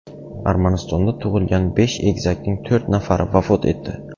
Armanistonda tug‘ilgan besh egizakning to‘rt nafari vafot etdi.